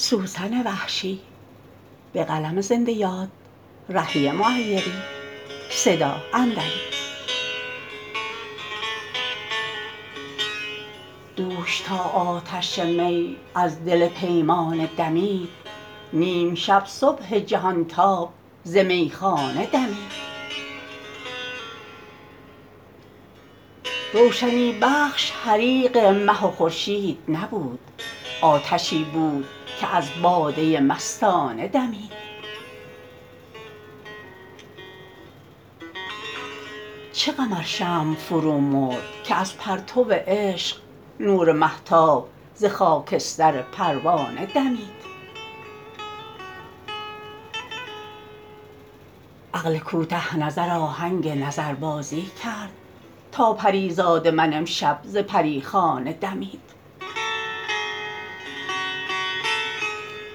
دوش تا آتش می از دل پیمانه دمید نیم شب صبح جهان تاب ز میخانه دمید روشنی بخش حریق مه و خورشید نبود آتشی بود که از باده مستانه دمید چه غم ار شمع فرومرد که از پرتو عشق نور مهتاب ز خاکستر پروانه دمید عقل کوته نظر آهنگ نظربازی کرد تا پریزاد من امشب ز پریخانه دمید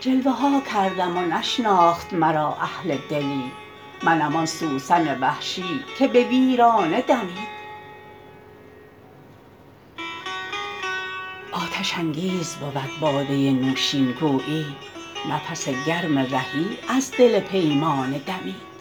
جلوه ها کردم و نشناخت مرا اهل دلی منم آن سوسن وحشی که به ویرانه دمید آتش انگیز بود باده نوشین گویی نفس گرم رهی از دل پیمانه دمید